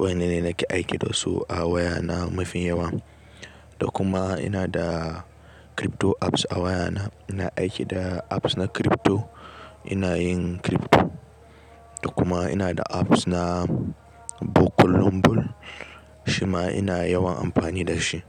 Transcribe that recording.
Waɗanne nake aiki da su a waya na mafi yawa. Da kuma ina da crypto apps a waya na. Ina aiki da apps na crypto, ina yin crypto. Da kuma ina da apps na book lum lum. Shima ina yawan amfani da shi.